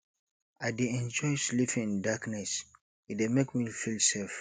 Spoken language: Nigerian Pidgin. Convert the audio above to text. i dey enjoy sleeping in darkness e dey make me feel safe